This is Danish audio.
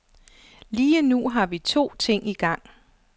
Lige nu har vi to ting igang.